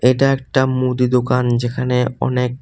এটা একটা মুদি দোকান যেখানে অনেক--